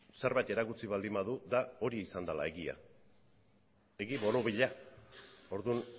zerbait erakutsi baldin badu da hori izan dela egia egi borobila orduan